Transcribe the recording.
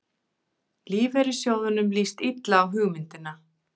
Lífeyrissjóðunum líst illa á hugmyndina